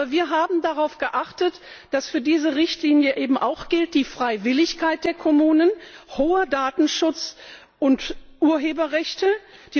Aber wir haben darauf geachtet, dass für diese Richtlinie eben auch die Freiwilligkeit der Kommunen, hoher Datenschutz und Urheberrechte gelten.